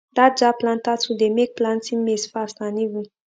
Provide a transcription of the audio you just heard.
that jab planter tool dey make plantin maize fast and even